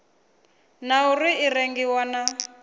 na uri i rengiwa na